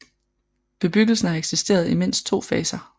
Bebyggelsen har eksisteret i mindst to faser